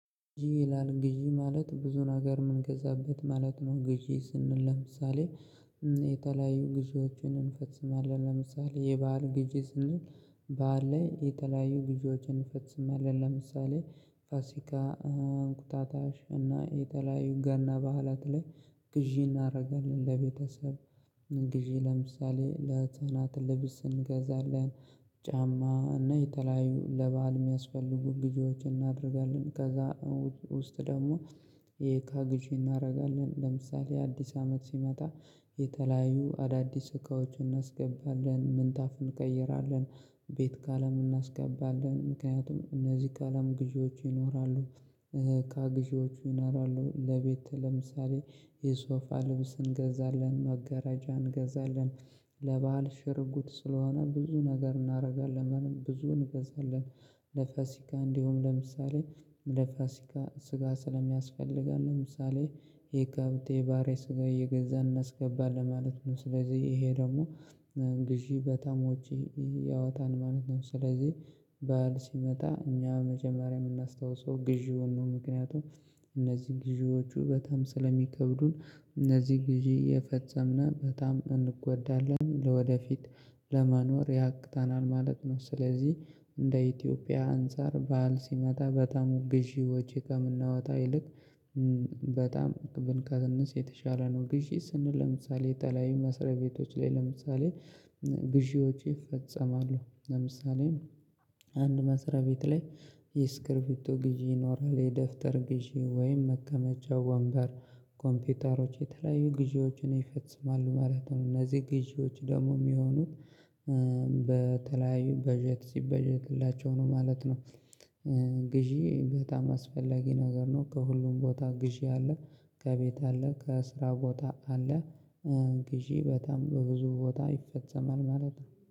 ይላል ግዢ ማለት ብዙን ነገር የምንገዛበት ማለት ነው። ግዢ ስንል ለምሳሌ የተለያዩ ግዢዎችን እንፈጽማለን ለምሳሌ የበአል ግዢ ስንል በዓል ላይ የተለያዩ ግዢዎችን እንፈጽማለን ለምሳሌ ፋሲካ፣ እንቁጣጣሽ እና የተለያዩ ገና በዓላት ላይ ግዢ እናደርጋለን ለቤተሰብ ግዢ ለምሳሌ ለህፃናት ልብስ እንገዛለን፣ ጫማ እና የተለያዩ ለበአል የሚያስፈልጉ ግዥዎችን እናደርጋለን ከዛ ውስጥ ደግሞ የእቃ ግዥ እናደርጋለን ለምሳሌ አዲስ አመት ሲመጣ የተለያዩ አዳዲስ እቃዎችን እናስገባለን፣ ምንጣፍ እንቀይራለን፣ ቤት ቀለም እናስቀባለን ምክንያቱም እነዚህ ቀለም ግዢዎቹ ይኖራሉ፣ እቃ ግዢዎች ይኖራሉ፣ ለቤት ለምሳሌ የሶፋ ልብስ እንገዛለን፣ መጋራጃ እንገዛለን፣ ለበአል ሽር ጉድ ስለሆነ ብዙ ነገር እናደርጋለን ብዙ እንገዛለን። ለፋሲካ እንዲሁም ለምሳሌ ለፋሲካ ስጋ ስለሚያስፈልገን ለምሳሌ የከብት የበሬ ስጋ እየገዛን እናስገባለን ማለት ነው ስለዚህ ይሄ ደግሞ ግዢ በጣም ወጭ ያወጣል ማለት ነው ስለዚህ በዓል ሲመጣ እኛ መጀመሪያ የምናስታውሰው ግዢውን ነው ምክንያቱም እነዚህ ግዢዎቹ በጣም ስለሚከብዱን እነዚህ ግዢ እየፈጸምን በጣም እንጎዳለን ለወደፊት ለመኖር ያቅተናል ማለት ነው፣ ስለዚህ እንደ ኢትዮጵያ አንፃር በዓል ሲመጣ በጣም ግዢ ወጪ ከምናወጣ ይልቅ በጣም ብንቀንስ የተሻለ ነው። ግዢ ስንል ለምሳሌ የተለያዩ መስሪያ ቤቶች ላይ ለምሳሌ ግዢዎች ይፈጸማሉ ለምሳሌ አንድ መስሪያ ቤት ላይ የስክርቢቶ ግዢ ይኖራል የደብተር ግዢ ወይም መቀመጫ ወንበር ኮምፒውተሮች የተለያዩ ግዢዎችን ይፈጽማሉ ማለት ነው። እነዚህ ግዢዎች ደግሞ የሚሆኑት በተለያዩ በጀት ሲበጀትላቸው ነው ማለት ነው። ግዢ በጣም አስፈላጊ ነገር ነው ከሁሉም ቦታ ግዢ አለ፣ ከቤት አለ፣ ከስራ ቦታ አለ፣ ግዢ በጣም በብዙ ቦታ ይፈጸማል ማለት ነው።